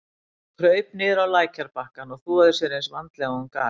Hún kraup niður á lækjarbakkann og þvoði sér eins vandlega og hún gat.